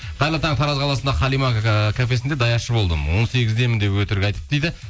қайырлы таң тараз қаласында халима ыыы кафесінде даяршы болдым он сегіздемін деп өтірік айтып дейді